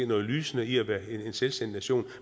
noget lysende i at være en selvstændig nation